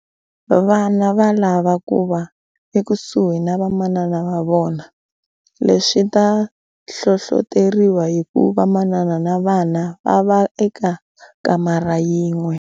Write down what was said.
Vana va lava ku va ekusuhi na vamanana va vona. Leswi swi ta hlohloteriwa hi ku va vamanana na vana va vona va va eka kamara yin'we.